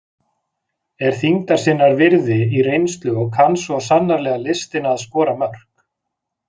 Er þyngdar sinnar virði í reynslu og kann svo sannarlega listina að skora mörk.